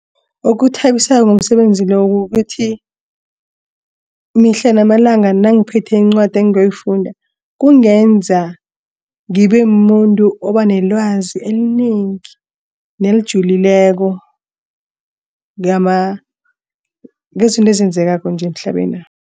Okuthabisako ngomsebenzi lo ukuthi mihla namalanga nangiphethe incwadi engiyoyifunda kungenza ngibe mumuntu oba nelwazi elinengi nelijulileko ngezinto ezenzekako nje emhlabenapha.